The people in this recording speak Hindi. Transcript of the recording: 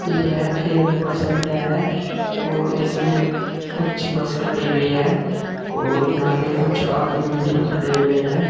यह एक बस अड्डा है और इसमें कुछ बस खड़ी हुई है और यहां पे कुछ आदमी भी खड़े हुए हैं।